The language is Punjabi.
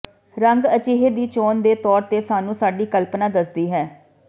ਰੰਗ ਅਜਿਹੇ ਦੀ ਚੋਣ ਦੇ ਤੌਰ ਤੇ ਸਾਨੂੰ ਸਾਡੀ ਕਲਪਨਾ ਦੱਸਦੀ ਹੈ